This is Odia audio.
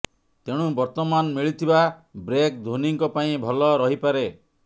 ତେଣୁ ବର୍ତ୍ତମାନ ମିଳିଥିବା ବ୍ରେକ ଧୋନିଙ୍କ ପାଇଁ ଭଲ ରହିପାରେ